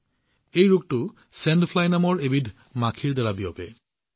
এই ৰোগ পৰজীৱী বালি মাখিৰ দংশনৰ জৰিয়তে বিয়পে